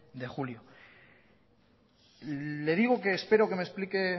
de julio le digo que espero que me explique